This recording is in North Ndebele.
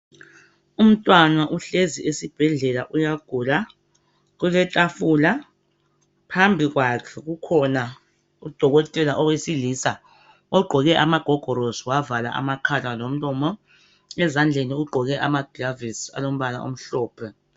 Umntwana uhlezi esibhedlela uyagula, kuletafula. Phambili kwakhe kukhona udokotela owesilisa ogqoke amagogorosi wavala amakhala lomlomo, ezandleni ugqoke amagilavisi alombala omhlophe.